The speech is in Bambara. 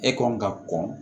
E kɔn ka kɔn